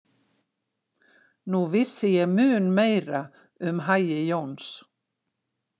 Nú vissi ég mun meira um hagi Jóns.